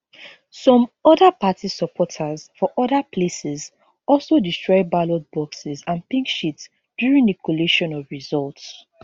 some oda party supporters for oda places also destroy ballot boxes and pink sheets during di collation of results